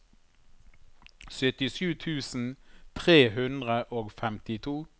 syttisju tusen tre hundre og femtito